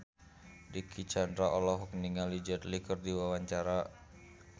Dicky Chandra olohok ningali Jet Li keur diwawancara